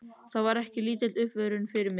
Það var ekki lítil uppörvun fyrir mig.